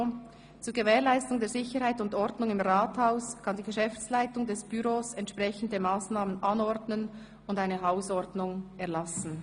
« Zur Gewährleistung der Sicherheit und Ordnung im Rathaus kann die Geschäftsleitung des Büros entsprechende Massnahmen anordnen und eine Hausordnung erlassen.